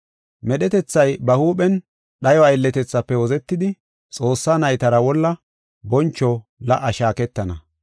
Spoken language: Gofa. Medhetethay ba huuphen dhayo aylletethaafe wozetidi, Xoossaa naytara wolla boncho la77a shaaketana.